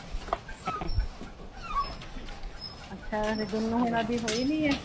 ਅੱਛਾ ਹਲੇ ਗੁਨੂੰ ਊਨਾ ਦੀ ਹੋਈ ਨੀ ਹੈ